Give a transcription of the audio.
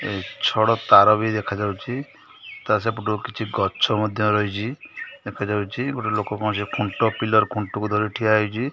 ଛଡ ତାର ବି ଦେଖାଯାଉଚି ତା ସେପଟକୁ କିଛି ଗଛ ମଧ୍ଯ ରହିଛି ଦେଖାଯାଉଚି ଗୋଟେ ଲୋକ ଙ୍କଣ ଖୁଣ୍ଟ ପିଲର ଖୁଣ୍ଟକୁ ଧରି ଠିଆ ହୋଇଚି।